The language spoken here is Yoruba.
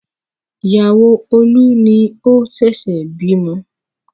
Ìyàwó Olú ni ó ṣẹ̀ṣẹ̀ bímọ.